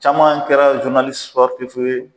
Caman kɛra zurunalisi sipɔritifu ye